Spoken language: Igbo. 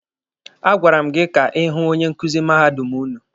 A gwara m gị ka ị hụ onye nkuzi mahadum ụnụ!